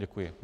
Děkuji.